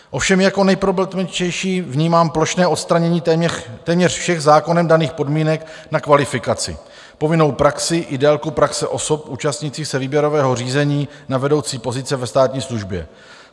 Ovšem jako nejproblematičtější vnímám plošné odstranění téměř všech zákonem daných podmínek na kvalifikaci, povinnou praxi i délku praxe osob účastnících se výběrového řízení na vedoucí pozice ve státní službě.